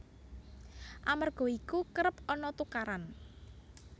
Amerga iku kerep ana tukaran